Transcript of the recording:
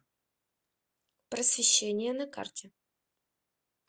просвещение на карте